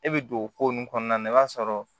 E bɛ don o ko nun kɔnɔna na i b'a sɔrɔ